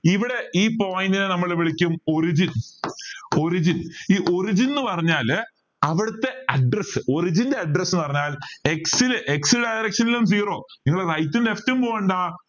ഇവിടെ ഈ point നെ നമ്മൾ വിളിക്കും origin origin ഈ origin എന്ന് പറഞ്ഞാൽ അവിടുത്തെ address origin ന്റെ address പറഞ്ഞാൽ x x direction ലും zero നിങ്ങൾ right left പോണ്ട